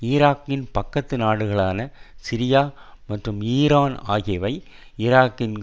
ஈராக்கின் பக்கத்து நாடுகளான சிரியா மற்றும் ஈரான் ஆகியவை ஈராக்கின்